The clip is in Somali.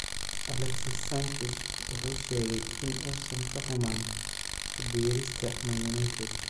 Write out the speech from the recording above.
Alexis Sanchez wuxuu sheegay in uusan ka xumaan ku biirista Man Utd.